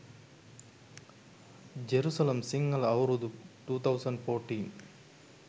jerusalem sinhala aurudu 2014